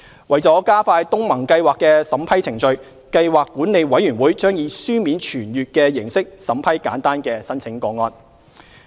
為加快東盟計劃的審批程序，計劃管理委員會將以書面傳閱的形式審批簡單的申請個案。